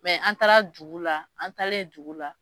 Mɛ an taara dugu la , an talen dugu la